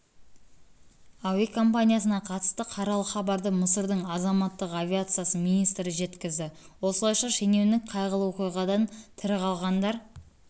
әуе компаниясына қатысты қаралы хабарды мысырдың азаматтық авиация министрі жеткізді осылайша шенеунік қайғылы оқиғадан тірі қалғандар